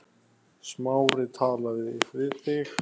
Smári talaði við þig?